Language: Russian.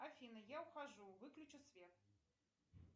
афина я ухожу выключи свет